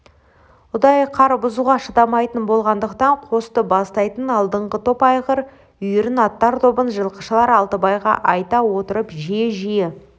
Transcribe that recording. ұдайы қар бұзуға шыдамайтын болғандықтан қосты бастайтын алдыңғы топ айғыр үйірін аттар тобын жылқышылар алтыбайға айта отырып жиі-жиі